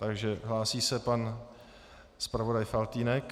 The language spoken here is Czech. Takže hlásí se pan zpravodaj Faltýnek.